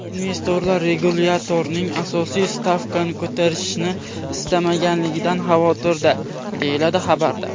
Investorlar regulyatorning asosiy stavkani ko‘tarishni istamasligidan xavotirda”, deyiladi xabarda.